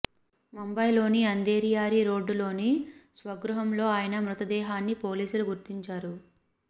ముంబైలోని అంధేరి యారీ రోడ్డులోని స్వగృహంలో ఆయన మృతదేహాన్ని పోలీసులు గుర్తించారు